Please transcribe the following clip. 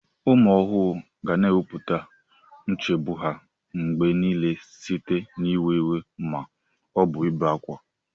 Ụmụ ohuru ga na-ekwupụta nchegbu ha mgbe niile site n'iwe iwe ma ọ bụ ibe ákwá.